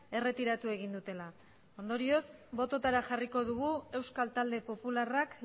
erretiratu egin dutela ondorioz botoetara jarriko dugu euskal talde popularrak